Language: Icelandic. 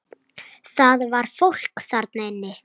Það var fólk þarna inni!